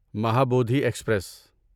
Mahabodhi express